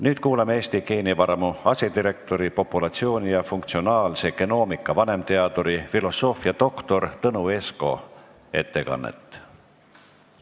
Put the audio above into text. Nüüd kuuleme Eesti Geenivaramu asedirektori, populatsiooni- ja funktsionaalse genoomika vanemteaduri filosoofiadoktor Tõnu Esko ettekannet.